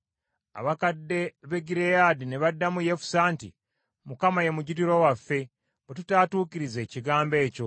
Abakadde b’e Gireyaadi ne baddamu Yefusa nti, “ Mukama ye mujulirwa waffe, bwe tutaatuukirize kigambo ekyo.”